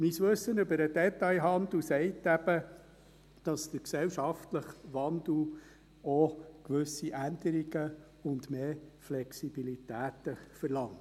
Mein Wissen über den Detailhandel sagt eben, dass der gesellschaftliche Wandel auch gewisse Änderungen und mehr Flexibilität verlangt.